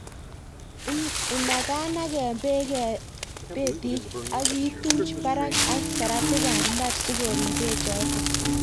Inaganagen beek betit ak ituch barak ak saratikab mbar sikorib bechoton